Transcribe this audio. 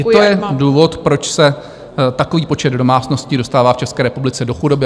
I to je důvod, proč se takový počet domácností dostává v České republice do chudoby.